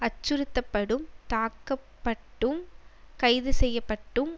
அச்சுறுத்தப்படும் தாக்கப்பட்டும் கைதுசெய்யப்பட்டும்